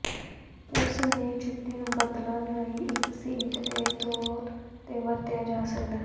ਉਸ ਨੇ ਜੁੱਤੀ ਨੂੰ ਬਦਲਣ ਲਈ ਇੱਕ ਸੀਟ ਦੇ ਤੌਰ ਤੇ ਵਰਤਿਆ ਜਾ ਸਕਦਾ ਹੈ